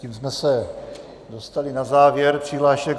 Tím jsme se dostali na závěr přihlášek.